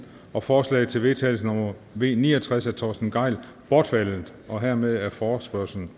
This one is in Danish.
og forslag til vedtagelse nummer v ni og tres af torsten gejl bortfaldet hermed er forespørgslen